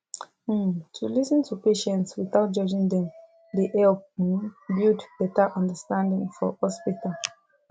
um to lis ten to patients without judging dem dey help um build better understanding for hospital